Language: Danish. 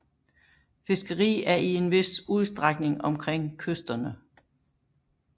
Fiskeri er i en vis udstrækning omkring kysterne